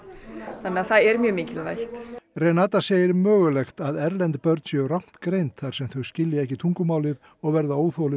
þannig að það er mjög mikilvægt segir mögulegt að erlend börn séu rangt greind þar sem þau skilja ekki tungumálið og verða óþolinmóð